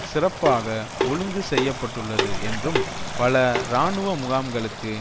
சிறப்பாக ஒழுங்கு செய்ய பட்டுள்ளது என்றும் பல இராணுவ முகாம்களுக்கு